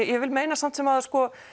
ég vil meina samt sem áður